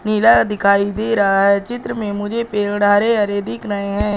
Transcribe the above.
नीला दिखाई दे रहा है चित्र में मुझे पेड़ हरे हरे दिख रहे हैं।